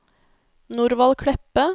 Norvald Kleppe